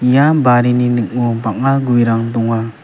ia barini ning·o bang·a guerang donga.